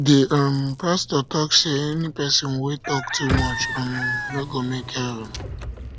the um pastor talk say any person wey talk too much um no go make heaven